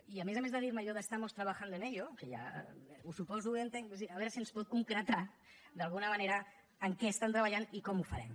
i a més a més de dir me allò de estamos trabajando en ello que ja ho suposo i ho entenc a veure si ens pot concretar d’alguna manera en què estan treballant i com ho farem